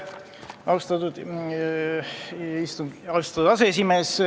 Austatud aseesimees!